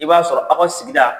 I b'a sɔrɔ aw ka sigida